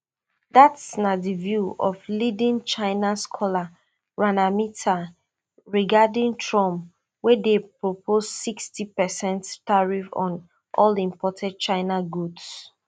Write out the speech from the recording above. dat na di view of leading china scholar rana mitter regarding trump wey dey propose sixty percent tariffs on all imported chinese goods